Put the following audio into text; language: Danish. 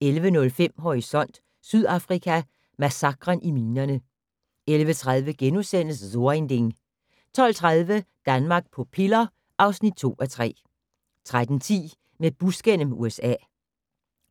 11:05: Horisont: Sydafrika: Massakren i minerne 11:30: So ein Ding * 12:30: Danmark på piller (2:3) 13:10: Med bus gennem USA